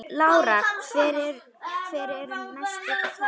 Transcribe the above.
Lára: Hver eru næstu skerf?